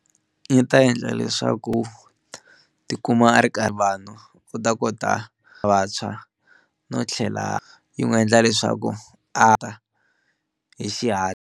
Yi ta endla leswaku tikuma a ri karhi vanhu u ta kota vantshwa no tlhela yi n'wu endla leswaku a ta hi xihatla.